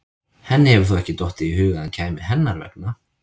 Henni hefur þó ekki dottið í hug að hann kæmi hennar vegna?